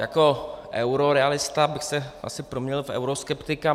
Jako eurorealista bych se asi proměnil v euroskeptika.